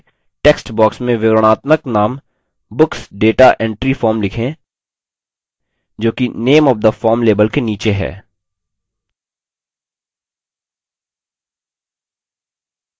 लेकिन अभी के लिए text box में विवरणात्मक name books data entry form लिखें जो कि name of the form label के नीचे है